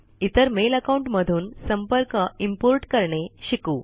इतर mail account मधून संपर्क इम्पोर्ट करणे शिकू